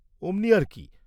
কনক অমনি আর কি?